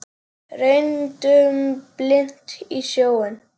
Renndum blint í sjóinn.